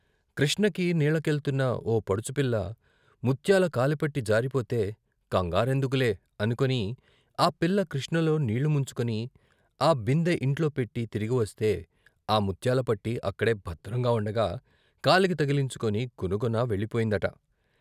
కృష్ణకి నీళ్ళకెళ్తున్న ఓ పడుచుపిల్ల ముత్యాల కాలిపట్టి జారిపోతే "కంగారెందుకులే" అనుకుని ఆ పిల్ల కృష్ణలో నీళ్ళు ముంచుకుని ఆ బిందె ఇంట్లో పెట్టి తిరిగివస్తే ఆ ముత్యాలపట్టి అక్కడే భద్రంగా ఉండగా కాలికి తగిలించుకొని గునగున వెళ్ళిపోయిందట.